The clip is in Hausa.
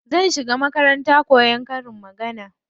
Zan shiga makarantar koyan karin magana.